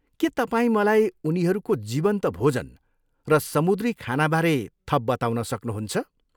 के तपाईँ मलाई उनीहरूको जीवन्त भोजन र समुद्री खानाबारे थप बताउन सक्नुहुन्छ?